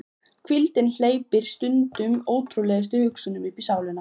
Hvíldin hleypir stundum ótrúlegustu hugsunum uppí sálina.